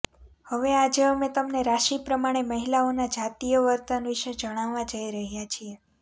હવે આજે અમે તમને રાશિ પ્રમાણે મહિલાઓના જાતીય વર્તન વિશે જણાવવા જઈ રહ્યા છીએ